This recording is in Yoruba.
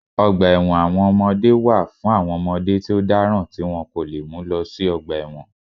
Ọgbà ẹ̀wọ̀n àwọn ọmọdé wà fún àwọn ọmọdé tí ó dáràn tí wọ́n kò lè mú lọ sí ọgbà ẹ̀wọ̀n